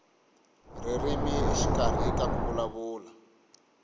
ririmi exikarhi ka ku vulavula